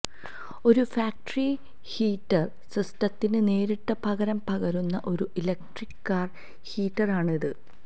ഒരു factory heater സിസ്റ്റത്തിന് നേരിട്ട് പകരം പകരുന്ന ഒരു ഇലക്ട്രിക് കാർ ഹീറ്ററാണ് ഇത്